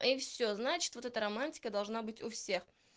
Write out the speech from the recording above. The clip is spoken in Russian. и все значит вот эта романтика должна быть у всех